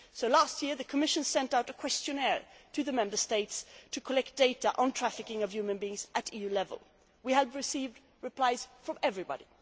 Last year, the Commission sent out a questionnaire to the Member States to collect data on the trafficking of human beings at EU level. We have received replies from everybody.